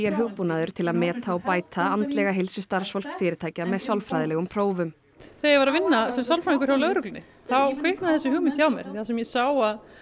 er hugbúnaður til að meta og bæta andlega heilsu starfsfólks fyrirtækja með sálfræðilegum prófum þegar ég var að vinna sem sálfræðingur hjá lögreglunni þá kviknaði þessi hugmynd þar sem ég sá að